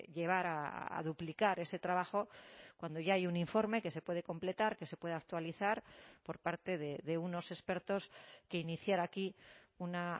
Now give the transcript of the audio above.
llevar a duplicar ese trabajo cuando ya hay un informe que se puede completar que se puede actualizar por parte de unos expertos que iniciar aquí una